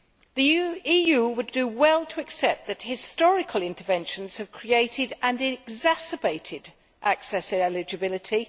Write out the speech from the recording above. The EU would do well to accept that, historically, interventions have created and exacerbated access eligibility.